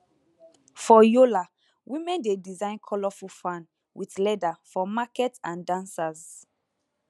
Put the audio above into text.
for yola women dey design colourful fan with leather for market and dancers